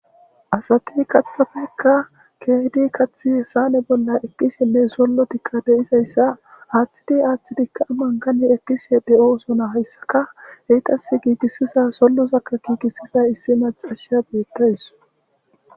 Asati kathafekka keehidi kathi hsaane bolla ekkisinne sollo tikka deizayssa haaththidi aaththidikka aman gani ekkisi de7oosona hayssaka heytas giigissisa sollosakka giigisiza issi macasha beettays.